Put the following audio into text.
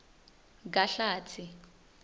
kahlatsi